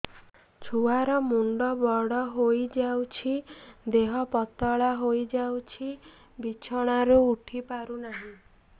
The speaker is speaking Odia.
ଛୁଆ ର ମୁଣ୍ଡ ବଡ ହୋଇଯାଉଛି ଦେହ ପତଳା ହୋଇଯାଉଛି ବିଛଣାରୁ ଉଠି ପାରୁନାହିଁ